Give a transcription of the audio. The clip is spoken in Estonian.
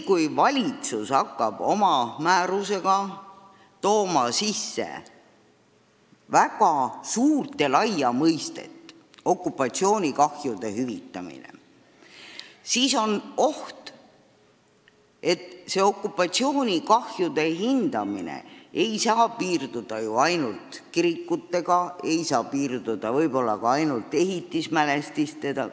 Kui valitsus toob oma määruses sisse väga laia mõiste "okupatsioonikahjude hüvitamine", on oht, et okupatsioonikahjude hüvitamine laieneb – see ei saa ju piirduda ainult kirikutega, see ei saa piirduda võib-olla ka ainult ehitismälestistega.